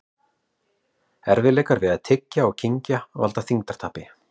Erfiðleikar við að tyggja og kyngja valda þyngdartapi.